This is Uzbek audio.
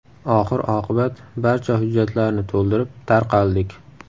Oxir-oqibat barcha hujjatlarni to‘ldirib, tarqaldik.